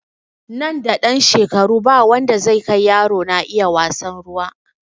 Nan da ɗan shekaru ba wanda zai kai yaro na iya wasan ruwa